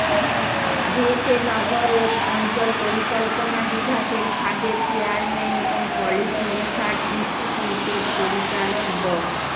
বুয়েটের নগর ও অঞ্চল পরিকল্পনা বিভাগের সাবেক চেয়ারম্যান এবং পলিসি রিসার্স ইনস্টিটিউটের পরিচালক ড